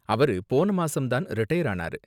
அவரு போன மாசம் தான் ரிடையர் ஆனாரு.